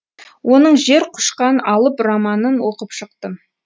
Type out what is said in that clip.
оның жер құшқан алып романын оқып шықтым